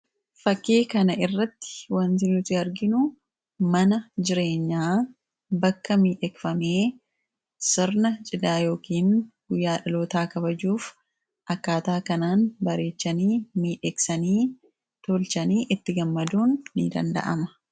fakkii kana irratti wanti nuti arginu mana jireenyaa bakka miidhekfamee sirna cidhaa yookiin guyyaa dhalotaa kabajuuf akkaataa kanaan bareechanii miidheeksanii tolchanii itti gammaduun ni danda'ama.